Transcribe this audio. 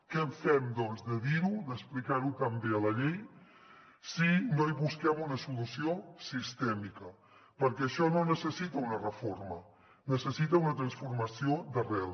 què en fem doncs de dir ho d’explicar ho tan bé a la llei si no hi busquem una solució sistèmica perquè això no necessita una reforma necessita una transformació d’arrel